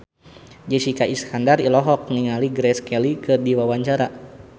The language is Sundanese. Jessica Iskandar olohok ningali Grace Kelly keur diwawancara